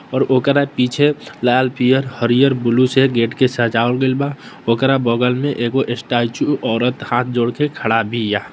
और ओकरा पीछे लाल पियर हरियर ब्लू से गेट के सजाओल गेल बा ओकरा बगल में एगो स्टेच्यू औरत हाथ जोड़कर खड़ा भी--